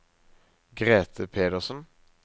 Grete Pedersen